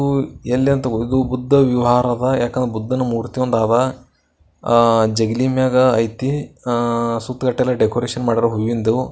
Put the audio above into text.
ಹೂ ಎಲ್ಲಿ ಅಂತ ಬುದ್ಧ ವಿಹಾರದ ಯಾಕಂದ್ರೆ ಬುದಂದು ಮೂರ್ತಿಯಾದ ಜಗ್ಲಿ ಮ್ಯಾಗ ಐತಿ ಹಾ ಸುತ್ತೇಕಟ್ಟೆಲ್ಲ ಡೆಕೋರೇಷನ್ ಮಾಡರ ಹೂವಿಂದು.